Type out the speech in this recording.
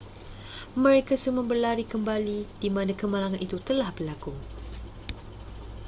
mereka semua berlari kembali di mana kemalangan itu telah berlaku